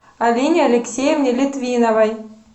алине алексеевне литвиновой